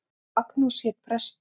Magnús hét prestur.